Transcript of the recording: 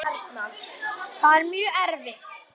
Það er mjög erfitt.